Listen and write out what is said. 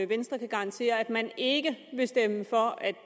venstre kan garantere at man ikke vil stemme for at